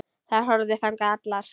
Þær horfðu þangað allar.